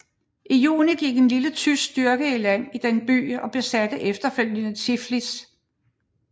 I juni gik en lille tysk styrke i land i denne by og besatte efterfølgende Tiflis